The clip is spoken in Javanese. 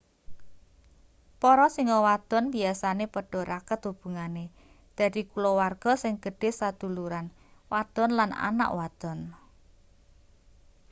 para singa wadon biasane padha raket hubungane dadi kulawarga sing gedhe saduluran wadon lan anak wadon